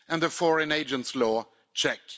And the foreign agent' law check.